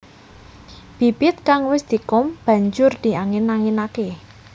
Bibit kang wis dikum banjur diangin anginaké